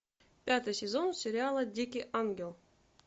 пятый сезон сериала дикий ангел